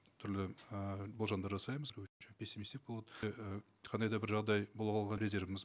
түрлі ыыы болжамдар жасаймыз пессимистік болады қандай да бір жағдай резервіміз